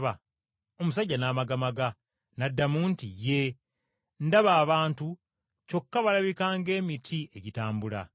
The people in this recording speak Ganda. Omusajja n’amagamaga, n’addamu nti, “Yee! Ndaba abantu kyokka balabika ng’emiti egitambula.”